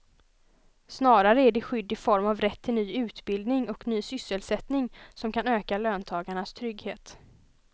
Snarare är det skydd i form av rätt till ny utbildning och ny sysselsättning som kan öka löntagarnas trygghet.